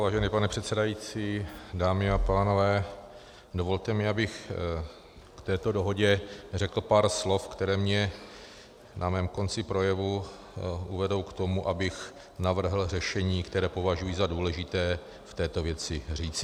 Vážený pane předsedající, dámy a pánové, dovolte mi, abych k této dohodě řekl pár slov, která mě na mém konci projevu uvedou k tomu, abych navrhl řešení, které považuji za důležité v této věci říci.